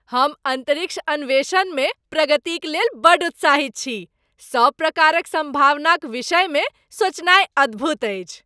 हम अन्तरिक्ष अन्वेषणमे प्रगतिक लेल बड्ड उत्साहित छी! सभ प्रकारक सम्भावनाक विषयमे सोचनाय अद्भुत अछि।